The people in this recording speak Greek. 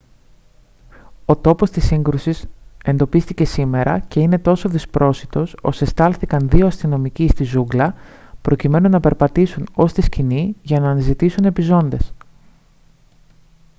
ο τόπος της σύγκρουσης εντοπίστηκε σήμερα και είναι τόσο δυσπρόσιτος ώστε στάλθηκαν δύο αστυνομικοί στη ζούγκλα προκειμένου να περπατήσουν ως τη σκηνή για να αναζητήσουν επιζώντες